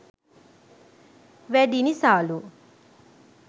වැඩියි නිසාලු.